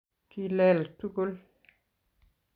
kileele tugul